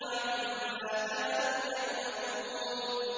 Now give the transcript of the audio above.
عَمَّا كَانُوا يَعْمَلُونَ